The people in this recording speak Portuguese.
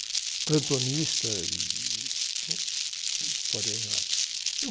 Fui plantonista e, uma porção de história em rádio.